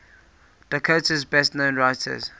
dakota's best known writers